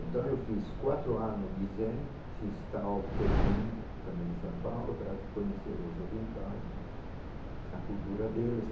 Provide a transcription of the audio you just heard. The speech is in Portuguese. Então, eu fiz quatro anos de zen, fiz tao teking, também em São Paulo, para conhecer os orientais, a cultura deles.